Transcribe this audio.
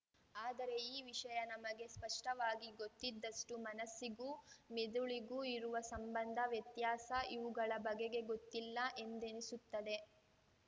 ಆದರೆ ಈ ವಿಷಯ ನಮಗೆ ಸ್ಪಷ್ಟವಾಗಿ ಗೊತ್ತಿದ್ದಷ್ಟು ಮನಸ್ಸಿಗೂ ಮಿದುಳಿಗೂ ಇರುವ ಸಂಬಂಧ ವ್ಯತ್ಯಾಸ ಇವುಗಳ ಬಗೆಗೆ ಗೊತ್ತಿಲ್ಲ ಎಂದೆನಿಸುತ್ತದೆ